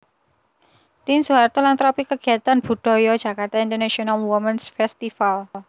Tien Soeharto lan tropi kegiatan budaya Jakarta International Womens Festival